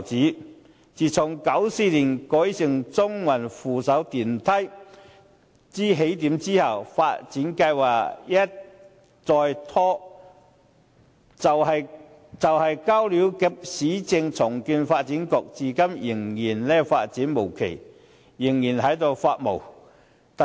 舊街市自從於1994年成為中環扶手電梯的起點後，發展計劃一再拖延，雖然已交由市區重建局負責，但至今仍然發展無期，舊街市仍然處於"發霉"狀態。